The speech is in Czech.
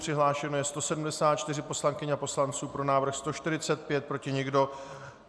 Přihlášeno je 174 poslankyň a poslanců, pro návrh 145, proti nikdo.